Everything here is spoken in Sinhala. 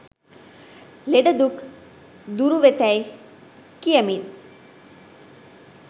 ලෙඩ දුක් දුරුවෙතැයි කියමින්